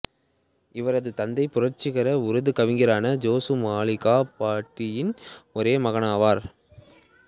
இவரது தந்தை புரட்சிகர உருது கவிஞரான ஜோசு மாலிகாபாடியின் ஒரே மகனாவார்